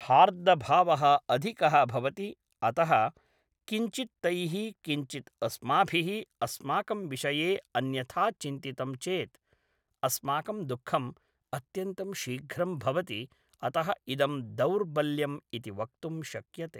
हार्दभावः अधिकः भवति अतः किञ्चित् तैः किञ्चित् अस्माभिः अस्माकं विषये अन्यथा चिन्तितं चेत् अस्माकं दुःखम् अत्यन्तं शीघ्रं भवति अतः इदं दौर्बल्यं इति वक्तुं शक्यते